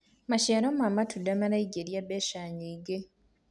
maciaro ma matunda maraingiria mbeca nyingi